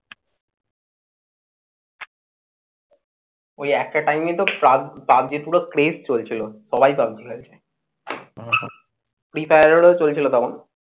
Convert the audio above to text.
ওই একটা time তো পাব পাবজির পুরো craze চলছিল। সবাই পাবজি খেলছে। free fire এরও চলছিল তখন।